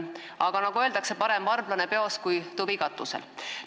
Aga nagu öeldakse, parem varblane peos kui tuvi katusel.